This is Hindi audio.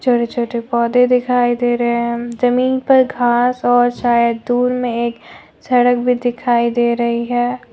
हरे छोटे पौधे दिखाई दे रहे हैं जमीन पर घास और शायद दूर में एक सड़क भी दिखाई दे रही है।